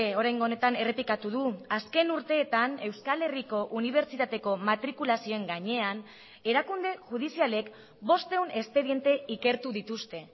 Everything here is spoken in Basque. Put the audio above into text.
oraingo honetan errepikatu du azken urteetan euskal herriko unibertsitateko matrikulazioen gainean erakunde judizialek bostehun espediente ikertu dituzte